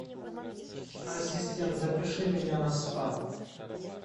ассистент запиши меня на спа